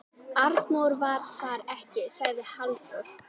Arnór var þar ekki, sagði Halldór.